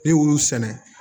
Ne y'olu sɛnɛ